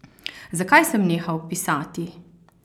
Zakaj sem nehal pisati?